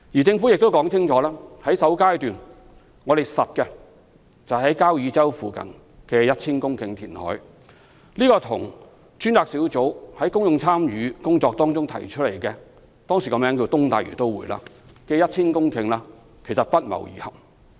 政府亦清楚表示，已決定在首階段於交椅洲附近填海 1,000 公頃，這與專責小組在公眾參與工作中提出的、當時名為"東大嶼都會"的 1,000 公頃土地不謀而合。